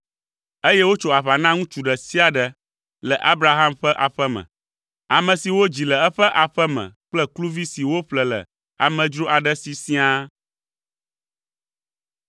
Eye wotso aʋa na ŋutsu ɖe sia ɖe le Abraham ƒe aƒe me, ame si wodzi le eƒe aƒe me kple kluvi si woƒle le amedzro aɖe si siaa.